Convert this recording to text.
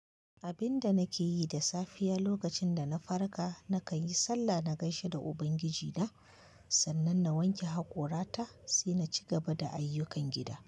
Abin da nake yi da safiya lokacin da na farka, nakan yi sallah na gaishe da Ubangiji na, sannan na wanke haƙorata sai na ci gaba da ayyukan gida.